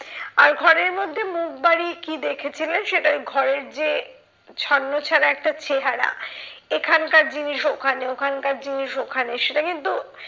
আর ঘরের মধ্যে মুখ বাড়িয়ে কি দেখেছিলেন, সেটা ওই ঘরের যে ছন্নছাড়া একটা চেহারা। এখানকার জিনিস ওখানে ওখানকার জিনিস ওখানে সেটা কিন্তু